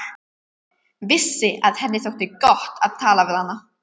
Vissi að henni þótti gott að tala við hana.